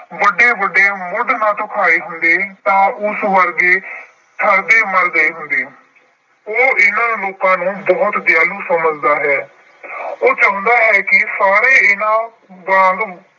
ਵੱਡੇ-ਵੱਡੇ ਮੁੱਢ ਨਾ ਧੁਖਾਏ ਹੁੰਦੇ ਤਾਂ ਉਸ ਵਰਗੇ ਠੱਰਦੇ-ਮਰਦੇ ਹੁੰਦੇ। ਉਹ ਇਹਨਾਂ ਲੋਕਾਂ ਨੂੰ ਬਹੁਤ ਦਿਆਲੂ ਸਮਝਦਾ ਹੈ। ਉਹ ਚਾਹੁੰਦਾ ਹੈ ਕਿ ਸਾਰੇ ਇਹਨਾਂ ਵਾਂਗ